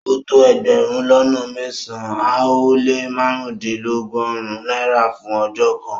O tó ègbérùn lọ́nà mẹ́sán-an o le màrundinlọ́gọ́run Naira fún ọjọ́ kan